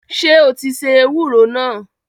Sọ ti se ewúro náà?